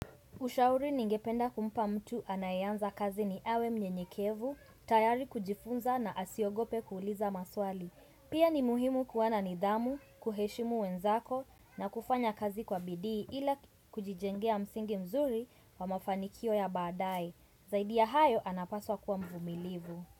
Ushauri ningependa kumpa mtu anaeanza kazi ni awe mnyenyekevu, tayari kujifunza na asiogope kuuliza maswali. Pia ni muhimu kuwa na nidhamu, kuheshimu wenzako na kufanya kazi kwa bidii ila kujijengea msingi mzuri wa mafanikio ya baadae. Zaidi ya hayo anapaswa kuwa mvumilivu.